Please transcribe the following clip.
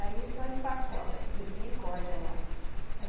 Aí só empacota, porque eles nem cortam lá.